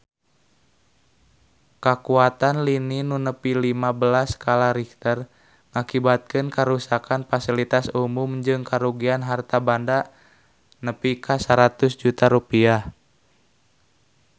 Kakuatan lini nu nepi lima belas skala Richter ngakibatkeun karuksakan pasilitas umum jeung karugian harta banda nepi ka 100 juta rupiah